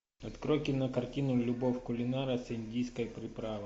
открой кинокартину любовь кулинара с индийской приправой